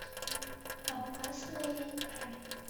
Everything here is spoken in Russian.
опасная игра